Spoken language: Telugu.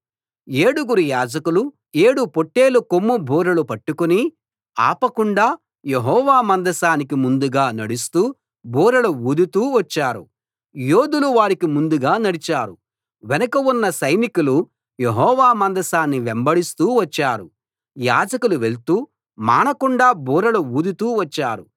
ఏడుగురు యాజకులు ఏడు పొట్టేలుకొమ్ము బూరలు పట్టుకుని ఆపకుండా యెహోవా మందసానికి ముందుగా నడుస్తూ బూరలు ఊదుతూ వచ్చారు యోధులు వారికి ముందు నడిచారు వెనక ఉన్న సైనికులు యెహోవా మందసాన్ని వెంబడిస్తూ వచ్చారు యాజకులు వెళ్తూ మానకుండా బూరలు ఊదుతూ వచ్చారు